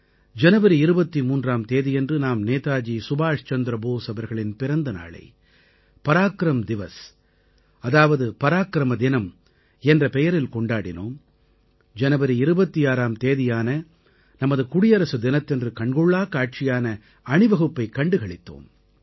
ஜனவரி 23ஆம் தேதியன்று நாம் நேதாஜி சுபாஷ் சந்திர போஸ் அவர்களின் பிறந்தநாளை பராக்ரம் திவஸ் அதாவது பராக்கிரம தினம் என்ற பெயரில் கொண்டாடினோம் ஜனவரி 26ஆம் தேதியான நமது குடியரசுத் தினத்தன்று கண்கொள்ளாக் காட்சியான அணிவகுப்பைக் கண்டு களித்தோம்